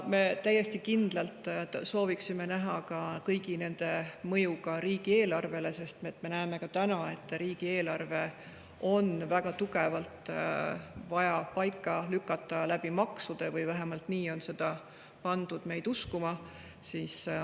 Me täiesti kindlalt sooviksime näha kõigi nende mõju riigieelarvele, sest me näeme ka täna, et riigieelarve on väga tugevalt vaja maksude abil paika lükata, vähemalt nii on pandud meid uskuma.